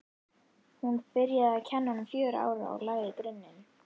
Hún byrjaði að kenna honum fjögurra ára og lagði grunninn.